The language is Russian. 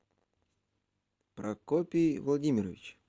прокопий владимирович